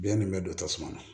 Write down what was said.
Biyɛn nin bɛ don tasuma na